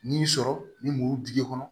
N'i y'i sɔrɔ ni muru dingɛ kɔnɔ